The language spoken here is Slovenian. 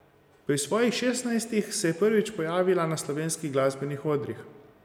Pri svojih šestnajstih se je prvič pojavila na slovenskih glasbenih odrih.